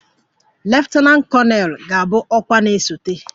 leftananti koneelu ga-abụ ọkwa na-esote